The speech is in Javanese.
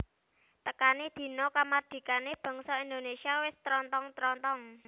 Tekané dina kamardikané bangsa Indonesia wis trontong trontong